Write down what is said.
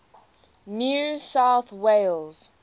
new south wales